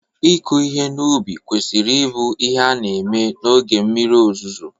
ịkụ ihe n'ubi kwesịrị ịbụ ihe a na-eme oge mmiri ozuzo